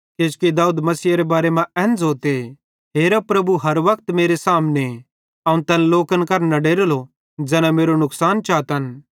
किजोकि दाऊद मसीहेरे बारे मां एन ज़ोते हेरा प्रभु हर वक्त मेरे सामने अवं तैन लोकन करां न डरेलो ज़ैना मेरो नुकसान चातन